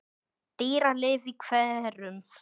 Dýralíf í hverum